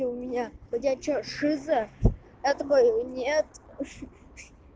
у меня ходячая шиза это был нет